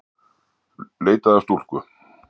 Leitað að stúlku